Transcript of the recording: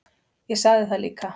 Ég sagði það líka.